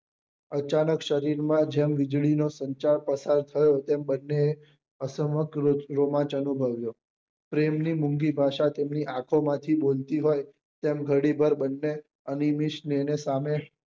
અચાનક શરીર માં જેમ વીજળી નો સંચાર પસાર થયો હોય તેમ બન્ને રોમાન્સ અનુભવ્યો પ્રેમ ની મૂંગી ભાષા તેમની આંખો માંથી બોલતી હોય તેમ ઘડી ભર બન્ને અનીમીશ ની સામે